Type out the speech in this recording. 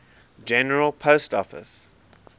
general post office